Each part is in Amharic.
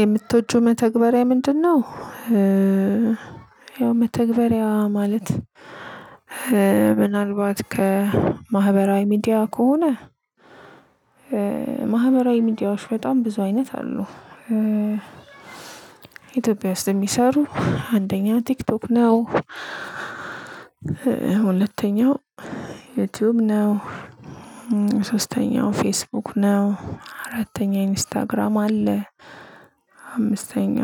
የምትወጁ መተግበሪያ ምንድነው? ያው መተግበሪያ ማለት ምናልባት ከማህበራዊ ሚዲያ ከሆነ ማህበራዊ ሚዲያዎች በጣም ብዙ አይነት አሉ። ኢትዮጵያ ውስጥ የሚሰሩ አንደኛ ቲክቶክ ነው። ሁለተኛው ዩቲዩብ ነው። ሶስተኛው ፌስቡክ ነው። አራተኛ ኢንስታግራም አለ። አምስተኛ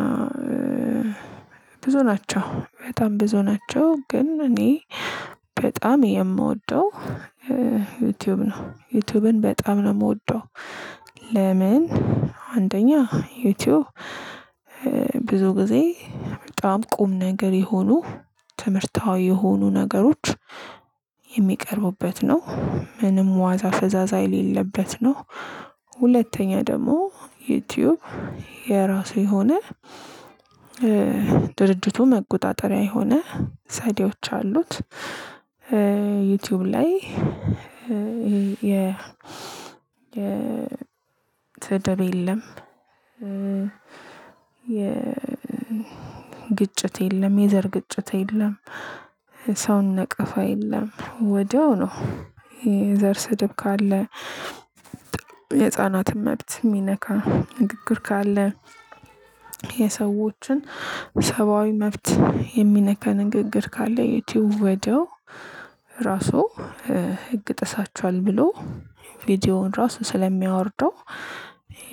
ብዙ ናቸው በጣም ብዙ ናቸው ግን እኔ በጣም የምወደው ዩቲዩብ ነው። ዩቲዩብን በጣም ነው የምወደው ለምን? አንደኛ ዩቲዩብ ብዙ ጊዜ በጣም ቁም ነገር የሆኑ ትምህርታዊ የሆኑ ነገሮች የሚቀርቡበት ነው። ምንም ዋዛ ፈዛዛ የሌለበት ነው። ሁለተኛ ደግሞ ዩቲዩብ የራሱ የሆነ ድርጅቱ መቆጣጠሪያ የሆነ ሚዲያዎች አሉት። ዩቲዩብ ላይ ይሄ የ የስደብ የለም። የ ግጭት የለም የዘር ግጭት የለም። ሰውን ነቀፋ የለም ወዲያው ነው የዘር ስድብ ካለ የጻናት መብት የሚነካ ንግግር ካለ የሰዎችን ሰብአዊ መብት የሚነካ ንግግር ካለ የቲዩብ ወዲያው ራሱ ህግ ጥሳችኋል ብሎ ቪዲዮውን ራሱ ስለሚያወርደው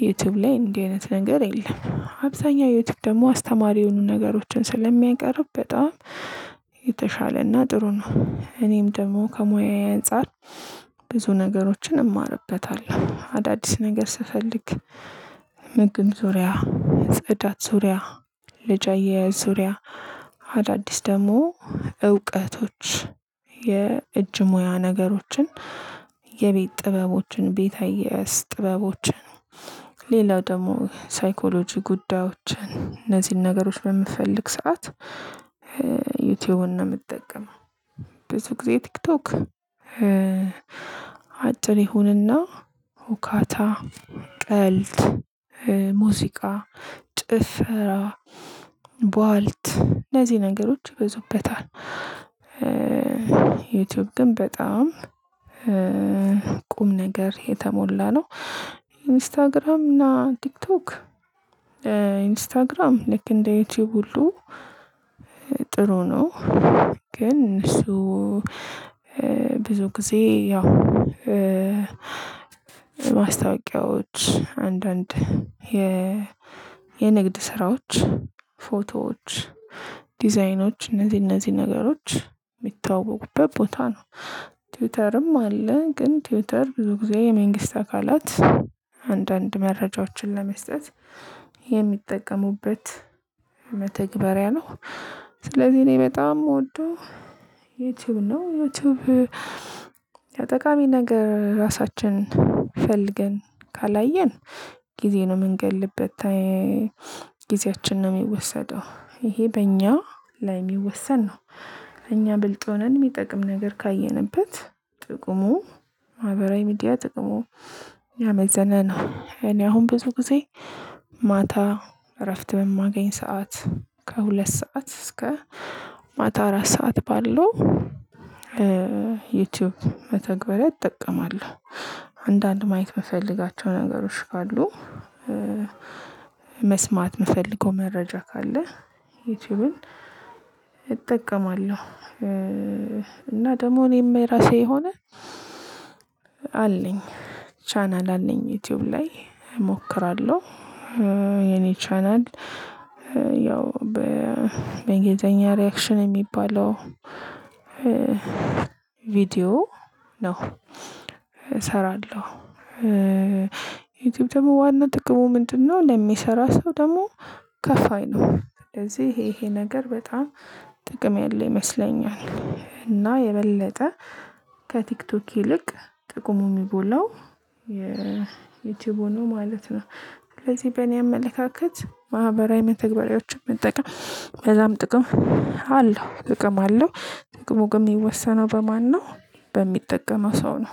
ዩቲዩብ ላይ እንደዚህ አይነት ነገር የለም አብዛኛው ዩቲዩብ ደግሞ አስተማሪ የሆኑ ነገሮችን ስለሚያቀርብ በጣም የተሻለና ጥሩ ነው። እኔም ደግሞ ከሙያዬ አንፃር ብዙ ነገሮችን እማርበታለሁ። አዳዲስ ነገር ስፈልግ ምግብ ዙሪያ ጽዳት ዙሪያ ልጅ አያያዝ ዙሪያ አዳዲስ ደግሞ እውቀቶች የእጅ ሙያ ነገሮችን፤ የቤት ጥበቦችን ቤት አያያዝ፤ ጥበቦችን ሌላው ደግሞ ሳይኮሎጂ ጉዳዮችን፤ እነዚህን ነገሮች በምፈልግ ሰዓት ዩቲዩብን ነው የምትጠቀመው። ብዙ ጊዜ ቲክቶክ አጭር ይሁንና ሁካታ ቀልድ ሙዚቃ ጭፈራ ብዋልት ለዚህ ነገሮች ይበዙበታል። ዩቲዩብ ግን በጣም ቁም ነገር የተሞላ ነው። ኢንስታግራም እና ቲክቶክ ኢንስታግራም ልክ እንደ ዩቲዩብ ሁሉ ጥሩ ነው ግን እሱ ብዙ ጊዜ ያው ማስታወቂያዎች አንዳንድ የ የንግድ ስራዎች፤ ፎቶዎች፤ ዲዛይኖች፤ እነዚህ እነዚህ ነገሮች የሚተዋወቁበት ቦታ ነው። ትዊተርም አለ ግን ትዊተር ብዙ ጊዜ የመንግስት አካላት አንዳንድ መረጃዎችን ለመስጠት የሚጠቀሙበት መተግበሪያ ነው። ስለዚህ እኔ በጣም የምወደው ዩቲዩብ ነው። ዩቲዩብ ጠቃሚ ነገር ራሳችን ፈልገን ካላየን ጊዜ ነው የምንገድልበት ጊዜያችን ነው የሚወሰደው። ይሄ በእኛ ላይ የሚወሰን ነው። እኛ ብልጥ ሆነን የሚጠቅም ነገር ካየንበት ጥቁሙ ማህበራዊ ሚዲያ ጥቅሙ ያመዘነ ነው። እኔ አሁን ብዙ ጊዜ ማታ እረፍት የማገኝ ሰዓት ከሁለት ሰዓት እስከ ማታ አራት ሰዓት ባለው ዩቲዩብ መተግበር እጠቀማለሁ። አንዳንድ ማየት የምፈልጋቸው ነገሮች ካሉ መስማት የምፈልገው መረጃ ካለ ዩቲዩብን እጠቀማለሁ። እና ደግሞ እኔ የማይራሴ የሆነ አለኝ ቻናል አለኝ። ዩቲዩብ ላይ እሞክራለሁ የኔ ቻናል ያው በእንግሊዘኛ ሪአክሽን የሚባለው ቪዲዮ ነው እሰራለሁ። ዩቲዩብ ደግሞ ዋና ጥቅሙ ምንድ ነው ለሚሰራ ሰው ደግሞ ከፋይ ነው። ስለዚህ ይሄ ይሄ ነገር በጣም ጥቅም ያለ ይመስለኛል። እና የበለጠ ከቲክቶክ ይልቅ ጥቅሙ የሚጎላው የዩቲዩብ ነው ማለት ነው። ስለዚህ በእኔ አመለካከት ማህበራዊ መተግበሪያዎችን መጠቀም በጣም ጥቅም አለው። ጥቅም አለው ጥቅሙ ግን የሚወሰነው በማነው በሚጠቀመው ሰው ነው።